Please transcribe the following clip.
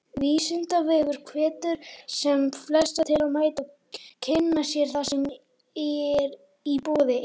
Vísindavefurinn hvetur sem flesta til að mæta og kynna sér það sem í boði er.